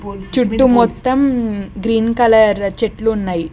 చుట్టూ మొత్తం green colour చెట్లున్నాయి.